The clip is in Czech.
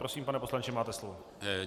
Prosím, pane poslanče, máte slovo.